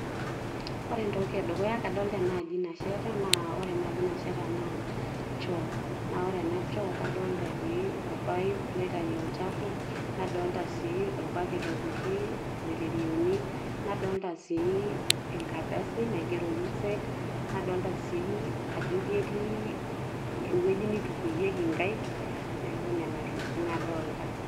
ore entoki edukuya naa kadolta enaaji nasheta, na ore enaaji nasheta naa shoo. naa ore ena choo kadoolta etii orpaip, loitayu olchafu, nadolta sii orbaket opiki iloiterioni, nadoolta sii enkardasi, naigero usaid nadoolta sii ajo ketii ewueji nitikuyieki inkaaik, neeku nena tokitin nadoolta.